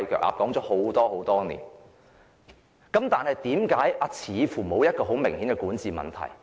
我們這樣說了很多年，但香港似乎沒有明顯的管治問題？